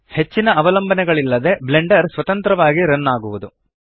ಹೆಚ್ಚಿನ ಅವಲಂಬನೆಗಳಿಲ್ಲದೆ ಬ್ಲೆಂಡರ್ ಸ್ವತಂತ್ರವಾಗಿ ರನ್ ಆಗುವದು